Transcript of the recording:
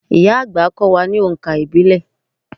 Ìyá-àgbà á kọ́ wa ní oǹkà ìbílẹ̀.